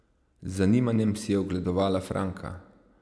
Z zanimanjem si je ogledovala Franka.